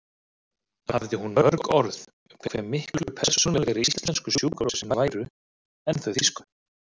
Hafði hún mörg orð um hve miklu persónulegri íslensku sjúkrahúsin væru en þau þýsku.